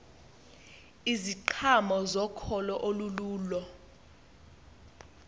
iziqhamo zokholo olululo